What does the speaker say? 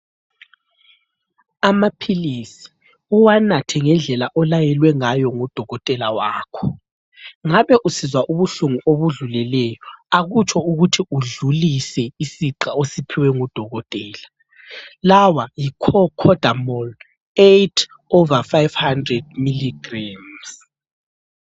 Amaphilisi uwanathe ngendlela olayelwe ngayo ngudokotela wakho ,ngabe usizwa ubuhlungu obudluleleyo akutsho ukuthi udlulise isigaxa osiphiwe ngudokotela, lawa yi cocodamol 8 over 500 milligrammes